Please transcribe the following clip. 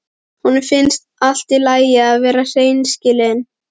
Honum finnst allt í lagi að vera hreinskilinn.